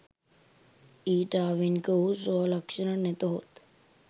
ඊට ආවේණික වූ ස්වලක්‍ෂණ නැතහොත්